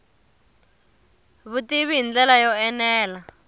vutivi hi ndlela yo enela